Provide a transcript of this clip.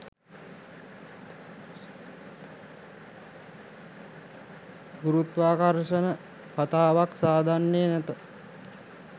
ගුරුත්වාකර්ෂණ කතාවක් සාදන්නේ නැත